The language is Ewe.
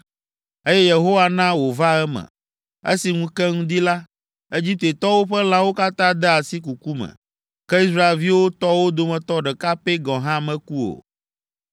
Eye Yehowa na wòva eme. Esi ŋu ke ŋdi la, Egiptetɔwo ƒe lãwo katã de asi kuku me, ke Israelviwo tɔwo dometɔ ɖeka pɛ gɔ̃ hã meku o.